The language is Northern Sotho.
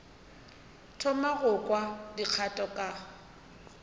thoma go kwa dikgato ka